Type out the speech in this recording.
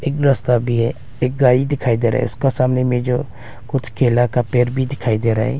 एक रास्ता भी है एक गाड़ी दिखाई दे रहा है उसका सामने में जो कुछ केला का पेर भी दिखाई दे रहा है।